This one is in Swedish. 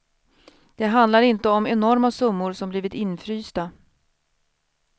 Det handlar inte om enorma summor som blivit infrysta.